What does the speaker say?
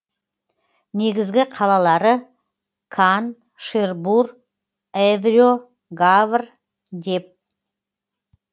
негізгі қалалары кан шербур эвре гавр дьеп